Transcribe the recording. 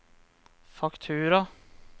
faktura